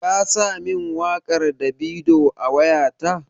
Ka sa min waƙar Davido a wayata?